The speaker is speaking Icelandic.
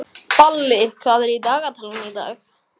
Balli, hvað er í dagatalinu í dag?